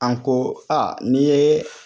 An ko a nin yee